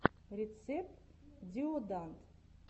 рецепт диоданд